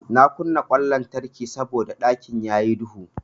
Na kunna ƙwan lantarki saboda ɗakin yayi duhu.